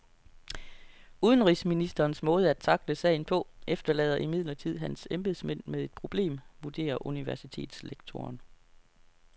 Udenrigsministerens måde at tackle sagen på efterlader imidlertid hans embedsmænd med et problem, vurderer universitetslektoren.